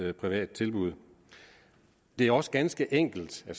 et privat tilbud det er også ganske enkelt og